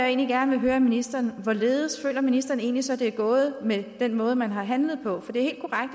egentlig gerne vil høre ministeren om hvorledes ministeren egentlig så det er gået med den måde man har handlet på for det